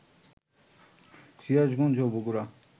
সিরাজগঞ্জ ও বগুড়া